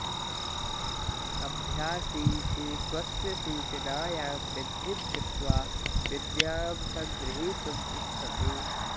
अभ्यासी तु स्वस्य सूचनायां वृद्धिं कृत्वा विद्यां सङ्ग्रहीतुम् इच्छति